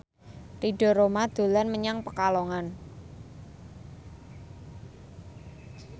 Ridho Roma dolan menyang Pekalongan